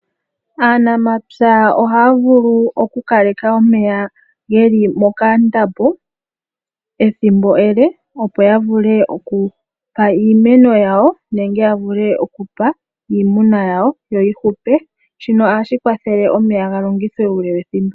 Aanamapya ohaya vulu oku kaleka omeya geli mokandambo, ethimbo ele opo ya vule oku pa iimeno yawo nenge ya vule oku pa iimuna yawo yo yi hule. Shino ohashi kwathele omeya ga longithwe uule wethimbo.